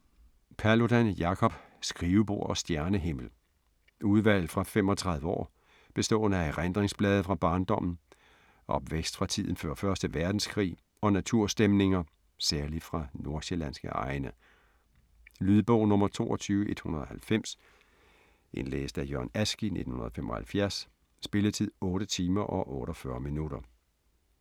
Paludan, Jacob: Skrivebord og stjernehimmel Udvalg fra 35 år bestående af erindringsblade fra barndommen, opvækst fra tiden før 1. verdenskrig og naturstemninger, særlig fra nordsjællandske egne. Lydbog 22190 Indlæst af Jørgen Ask, 1975. Spilletid: 8 timer, 48 minutter.